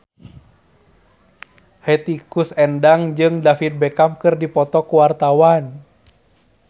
Hetty Koes Endang jeung David Beckham keur dipoto ku wartawan